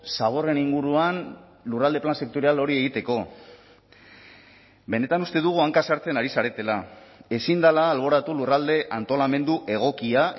zaborren inguruan lurralde plan sektorial hori egiteko benetan uste dugu hanka sartzen ari zaretela ezin dela alboratu lurralde antolamendu egokia